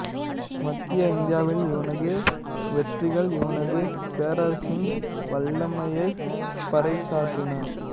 மத்திய இந்தியாவில் இவனது வெற்றிகள் இவனது பேரரசின் வல்லமையைப் பறைசாற்றின